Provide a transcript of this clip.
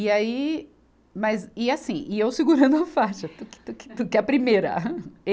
E aí, mas, e assim, e eu segurando a faixa, tuque, tuque, tuque, a primeira.